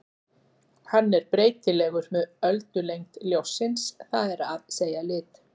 Hann er breytilegur með öldulengd ljóssins, það er að segja lit.